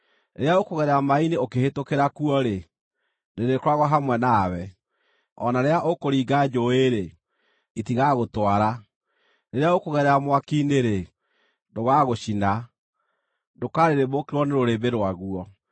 Rĩrĩa ũkũgerera maaĩ-inĩ ũkĩhĩtũkĩra kuo-rĩ, ndĩrĩkoragwo hamwe nawe; o na rĩrĩa ũkũringa njũũĩ-rĩ, itigagũtwara. Rĩrĩa ũkũgerera mwaki-inĩ-rĩ, ndũgaagũcina; ndũkarĩrĩmbũkĩrwo nĩ rũrĩrĩmbĩ rwaguo.